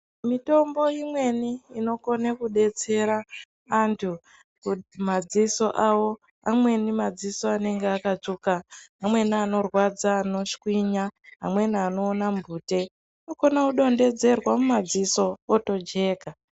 Mitombo imweni inokone kudetsera antu madziso avo. Amweni madziso anenge akatsvuka. Amweni anorwadza anoshwinya, amweni anoona mhute anokone kudonhodzerwa mumadziso otojeka.